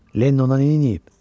Lenny ona neyniyib?